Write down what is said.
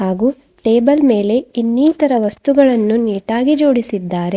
ಹಾಗೂ ಟೇಬಲ್ ಮೇಲೆ ಇನ್ನಿತರ ವಸ್ತುಗಳನ್ನು ನೀಟ್ ಆಗಿ ಜೋಡಿಸಿದ್ದಾರೆ.